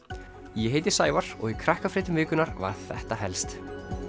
ég heiti Sævar og í Krakkafréttum vikunnar var þetta helst